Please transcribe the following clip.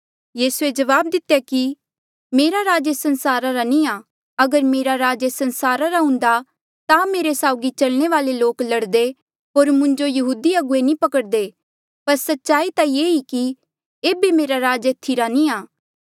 यीसूए जवाब दितेया कि मेरा राज एस संसारा नी आ अगर मेरा राज एस संसारा रा हुन्दा ता मेरे साउगी चलने वाले लोक लड़दे होर हांऊँ यहूदी अगुवे मुंजो नी पकड़दे पर सच्चाई ता ये ई कि एेबे मेरा राज एथी रा नी आ